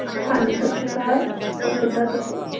ਹਾਂਜੀ ਸਤਿ ਸ੍ਰੀ ਅਕਾਲ, ਹੋਰ ਕਿੱਦਾਂ ਤੁਸੀਂ?